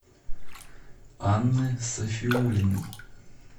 анны сафиуллиной